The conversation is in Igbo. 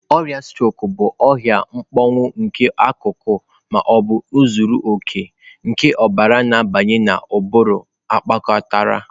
Ọrịa strok bụ ahụ mkpọnwụ nke akụkụ ma ọ bụ zuru oke nke ọbara na-abanye na ụbụrụ kpatara.